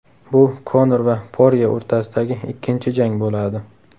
Bu Konor va Porye o‘rtasidagi ikkinchi jang bo‘ladi.